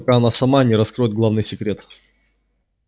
пока она сама не раскроет главный секрет